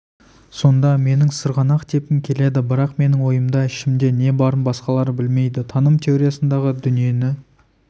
сонда менің сырғанақ тепкім келеді бірақ менің ойымда ішімде не барын басқалар білмейді таным теориясындағы дүниені